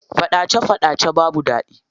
Faɗace faɗace babu daɗi.